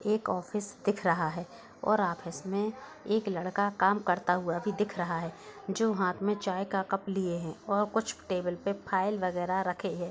एक ऑफिस दिख रहा है और ऑफिस में एक लड़का काम करता हुआ भी दिख रहा है जो हाथ में चाय का कप लिए है और कुछ टेबल पर फाइल वगैरह रखे है।